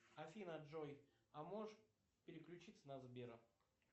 афина джой а можешь переключиться на сбера